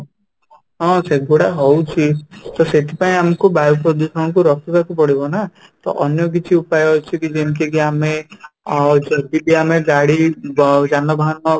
ହଁ, ସେଗୁଡାକ ହଉଛି ତ ସେଥିପାଇଁ ଆମକୁ ବାୟୁ ପ୍ରଦୂଷଣ କୁ ରୋକିବାକୁ ପଡିବ ନା ତ ଅନ୍ୟ କିଛି ଉପାୟ ଅଛି କି ଯେମିତି କି ଆମେ ଅ ଯଦି ବି ଆମେ ବ ଗାଡି ଯାନବାହାନ